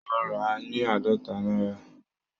Mo rà á ní àádọ́ta náírà